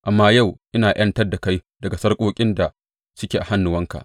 Amma yau ina ’yantar da kai daga sarƙoƙin da suke a hannuwanka.